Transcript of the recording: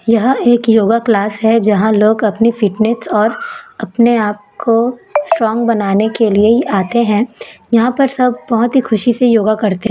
यह एक yoga class है जहाॅं लोग अपनी फिटनेस और अपने आप को स्ट्रॉंग बनाने के लिए ही आते हैं यहाॅं पर सब बहोत ही खुशी से योगा करते--